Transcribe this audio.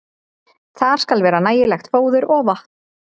Þar skal vera nægilegt fóður og vatn.